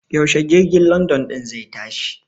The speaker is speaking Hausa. Yaushe jirgin London ɗin zai tashi?